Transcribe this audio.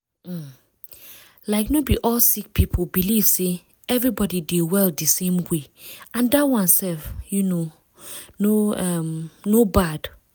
um like no be all sick people believe say everybody dey well di same way and dat one sef um no um no bad.